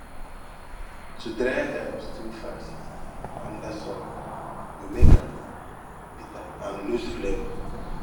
to dry herbs too fast under sun go make am bitter and lose flavour